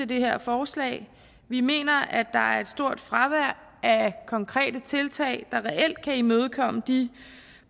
det her forslag vi mener at der er et stort fravær af konkrete tiltag der reelt kan imødegå de